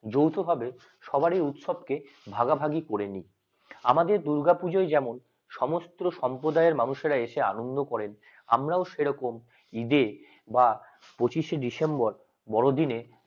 যৌথভাবে সবারই উৎসবকে ভাগাভাগি করে নিয় আমাদের দুর্গাপূজায় যেমন সমস্ত সম্প্রদায়ের মানুষরা এসে আনন্দ করেন আমরাও সেরকম ঈদে বা পঁচিশ শে ডিসেম্বর বড়দিনে